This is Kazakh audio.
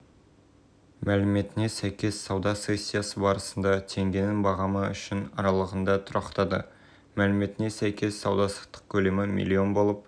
алматы желтоқсан қаз қазақстан қор биржасында өткен саудада теңгенің долларына шаққандағы орташа бағамы болды алдыңғы сауда күнімен салыстырғанда доллар бағасы түсті